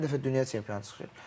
Hər dəfə dünya çempionu çıxır.